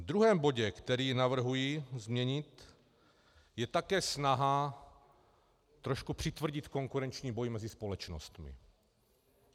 V druhém bodě, který navrhuji změnit, je také snaha trošku přitvrdit konkurenční boj mezi společnostmi.